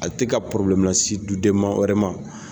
A tɛ ka la si du den ma wɛrɛ ma.